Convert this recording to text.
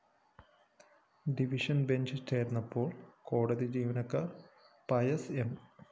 division bench ചേര്‍ന്നപ്പോള്‍ കോടതി ജീവനക്കാര്‍ പയസ് എം